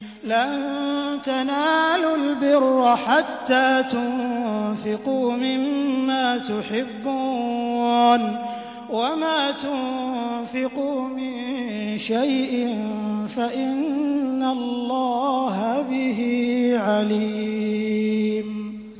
لَن تَنَالُوا الْبِرَّ حَتَّىٰ تُنفِقُوا مِمَّا تُحِبُّونَ ۚ وَمَا تُنفِقُوا مِن شَيْءٍ فَإِنَّ اللَّهَ بِهِ عَلِيمٌ